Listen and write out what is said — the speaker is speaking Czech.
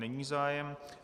Není zájem.